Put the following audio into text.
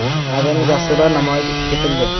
Madaniy dasturlar namoyish etildi.